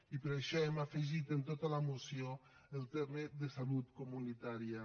i per això hem afegit en tota la moció el terme de salut comunitària